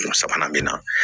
Sabanan min na